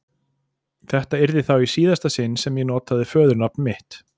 Þetta yrði þá í síðasta sinn sem ég notaði föðurnafn mitt.